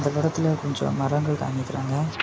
படத்துல கொஞ்சம் மரங்கள் காமிக்கிறாங்க.